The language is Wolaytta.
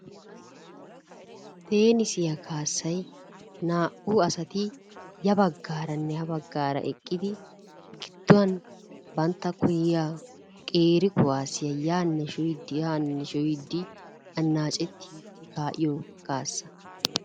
Teenisiya kaassay naa'u asati yabagaaranne ha bagaara eqqidi gidduwan banttakko yiyaa qeeri kuwaasiya yaane sho'iidi haane sho'iidi anaccetti ka'iyo kaassa.